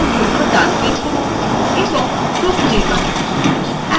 context menu জন্য ডান click করুন এবং group নির্বাচন করুন